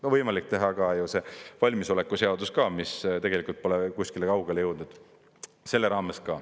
On võimalik teha ka selle almisoleku seaduse raames, mis tegelikult pole ka kuskile kaugele jõudnud.